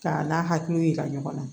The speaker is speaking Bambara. K'a n'a hakiliw yira ɲɔgɔn na